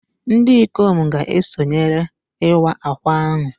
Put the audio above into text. Ndị ikom ga-esonyere Iwa Akwa ahụ